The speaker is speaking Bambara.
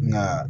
Nka